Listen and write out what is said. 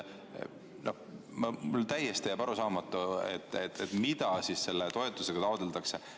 Mulle jääb täiesti arusaamatuks, mida siis selle toetusega taotletakse.